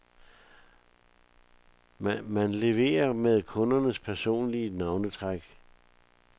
Man leverer med kundens personlige navnetræk.